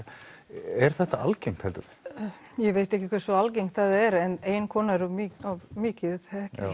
er þetta algengt heldurðu ég veit ekki hversy algengt það er en ein kona er of mikið